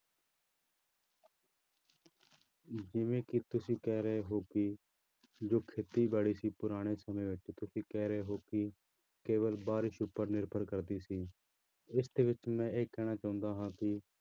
ਜਿਵੇਂ ਕਿ ਤੁਸੀਂ ਕਹਿ ਰਹੇ ਹੋ ਕਿ ਜੋ ਖੇਤੀਬਾੜੀ ਸੀ ਪੁਰਾਣੇ ਸਮਿਆਂ ਵਿੱਚ ਤੁਸੀਂ ਕਹਿ ਰਹੇ ਹੋ ਕਿ ਕੇਵਲ ਬਾਰਿਸ਼ ਉੱਪਰ ਨਿਰਭਰ ਕਰਦੀ ਸੀ, ਇਸਦੇ ਵਿੱਚ ਮੈਂ ਇਹ ਕਹਿਣਾ ਚਾਹੁੰਦਾ ਹਾਂ ਕਿ